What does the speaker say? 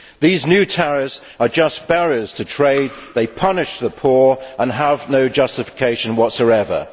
These new tariffs are just barriers to trade, they punish the poor and have no justification whatsoever.